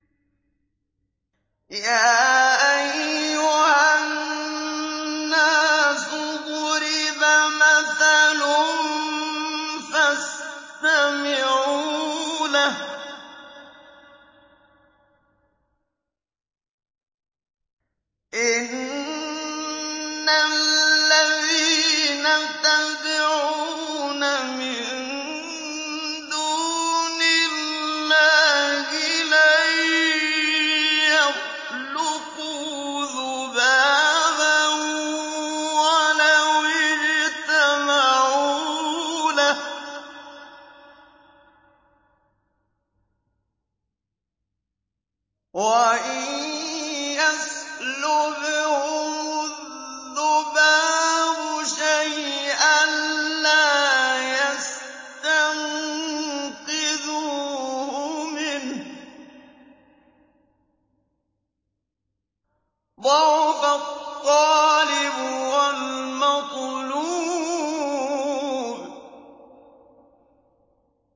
يَا أَيُّهَا النَّاسُ ضُرِبَ مَثَلٌ فَاسْتَمِعُوا لَهُ ۚ إِنَّ الَّذِينَ تَدْعُونَ مِن دُونِ اللَّهِ لَن يَخْلُقُوا ذُبَابًا وَلَوِ اجْتَمَعُوا لَهُ ۖ وَإِن يَسْلُبْهُمُ الذُّبَابُ شَيْئًا لَّا يَسْتَنقِذُوهُ مِنْهُ ۚ ضَعُفَ الطَّالِبُ وَالْمَطْلُوبُ